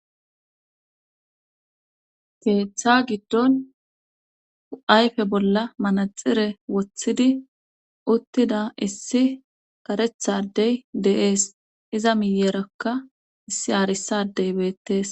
keeththa giddon ayfe bolla manaxire woththidi uttida issi karetha adey de7ees iza miyerakka issi arisaa adde beettees.